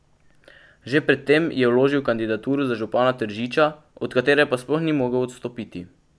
Že pred tem je vložil kandidaturo za župana Tržiča, od katere pa sploh ni mogel odstopiti.